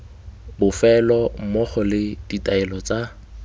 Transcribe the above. bofelo mmogo le ditaelo tsa